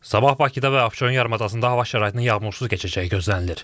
Sabah Bakıda və Abşeron yarımadasında hava şəraitinin yağmursuz keçəcəyi gözlənilir.